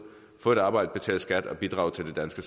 få et arbejde betale skat og bidrage til det danske